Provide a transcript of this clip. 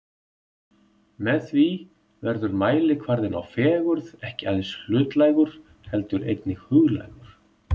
Með því verður mælikvarðinn á fegurð ekki aðeins hlutlægur heldur einnig huglægur.